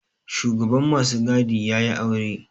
Shugaban masu gadi ya yi aure